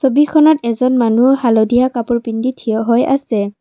ছবিখনত এজন মানুহ হালধীয়া কাপোৰ পিন্ধি থিয় হৈ আছে।